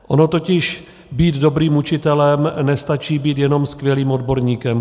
Ono totiž být dobrým učitelem nestačí být jenom skvělým odborníkem.